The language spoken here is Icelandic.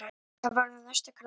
Það verður næsta krafa.